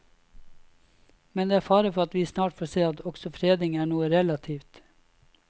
Men det er fare for at vi snart får se at også fredning er noe relativt.